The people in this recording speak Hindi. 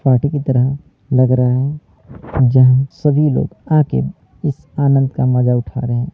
पार्टी की तरह लग रहा है जहां सभी लोग आके इस आनंद का मजा उठा रहे है ।